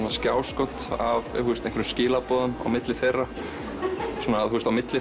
og skjáskot af einhverjum skilaboðum milli þeirra á milli